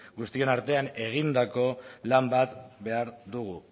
guztion artean egindako lan bat behar dugu